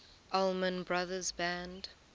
allman brothers band